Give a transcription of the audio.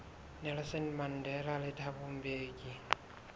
nelson mandela le thabo mbeki